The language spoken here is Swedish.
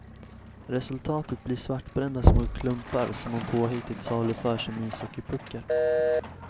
Resultatet blir svartbrända små klumpar som hon påhittigt saluför som ishockeypuckar.